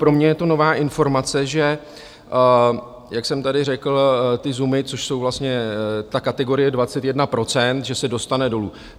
Pro mě je to nová informace, že jak jsem tady řekl, ty ZUM, což jsou vlastně ta kategorie 21 procent, že se dostane dolů.